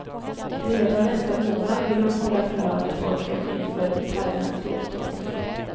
Redan nästa månad vill han hålla förhör med pojken inför thailändsk domstol.